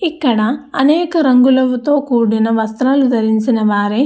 ఇక్కడ అనేక రంగులతో కూడిన వస్త్రాలు ధరించిన వారై--